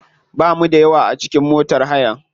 Bamu da yawa a cikin motar hayan.